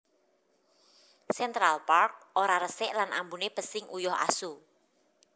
Central Park ora resik lan ambune pesing uyuh asu